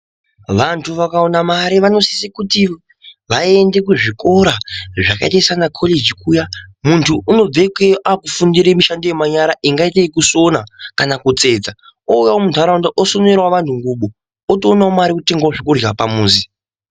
Vantu vakawana mari vanosise kuti vaende kuzvikora zvakaita sanakoleji kuya. Muntu unobve ikeyo afundira mishando yemanyara ingaite yekusona kana kutsetsa, ouyawo muntaraunda osonerawo vantu otoonawo mare yekutenga zvekurya pamuzi.